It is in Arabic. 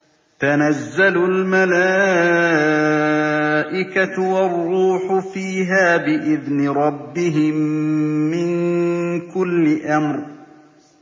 تَنَزَّلُ الْمَلَائِكَةُ وَالرُّوحُ فِيهَا بِإِذْنِ رَبِّهِم مِّن كُلِّ أَمْرٍ